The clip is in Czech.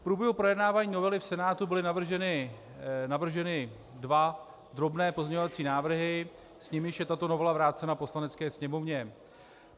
V průběhu projednávání novely v Senátu byly navrženy dva drobné pozměňovací návrhy, s nimiž je tato novela vrácena Poslanecké sněmovně.